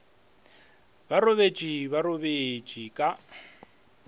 ba robetše ba robetše ka